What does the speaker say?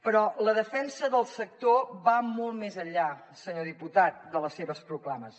però la defensa del sector va molt més enllà senyor diputat de les seves proclames